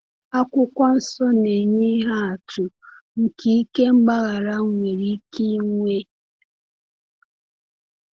Akwụkwọ Nsọ na-enye ihe atụ nke ike mgbaghara nwere ike inwe.